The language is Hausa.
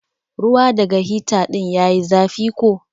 Ruwa daga hita din ya yi zafi ko?